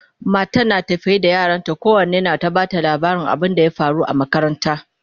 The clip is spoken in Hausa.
matan tana tafe da yaranta kowanne na ta Bata labarin abun da ya faru a makaranta